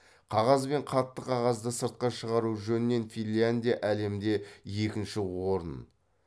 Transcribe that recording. қағаз бен қатты қағазды сыртқа шығару жөнінен финляндия әлемде екінші орын